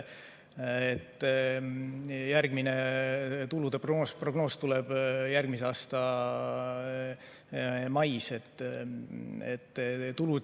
Järgmine tulude prognoos tuleb järgmise aasta mais.